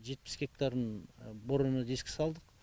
жетпіс гектарын борона дискі салдық